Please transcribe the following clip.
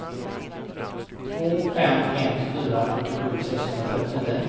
två fem ett fyra fyrtiosju sexhundratrettionio